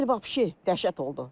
Bu il vəhşi dəhşət oldu.